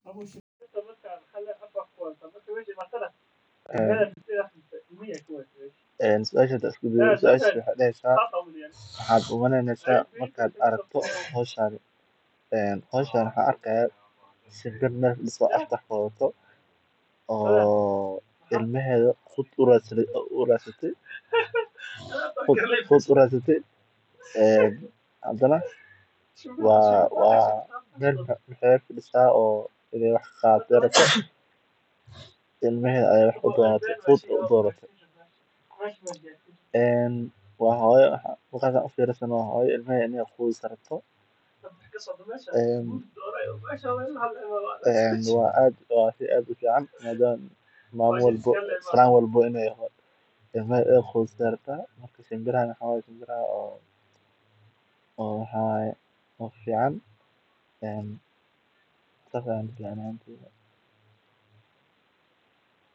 Suashas waxey dahesa an arkaya shimbir mesha tagan waxa uu tusayaa sida maskaxdu uga falceliso cuntooyinka la jecel yahay, iyadoo ay suuragal tahay in xitaa jidhku bilaabo inuu dareemo gaajo ama afku bilaabo inuu dheecaamayo. Tani waa tusaale muuqda oo muujinaya sida xusuusta, dhadhanka, iyo dareenka ay isugu xiran yihiin, isla markaana cuntooyinka qaar ay awood ugu yeeshaan inay kiciso maskaxda iyo niyadda si lama filaan ah.